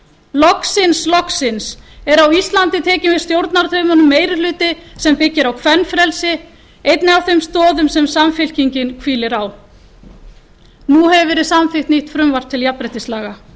loksins loksins er á íslandi tekinn við stjórnartaumunum meiri hluti sem byggir á kvenfrelsi einni af þeim stoðum sem samfylkingin hvílir á nú hefur verið samþykkt nýtt frumvarp til jafnréttislaga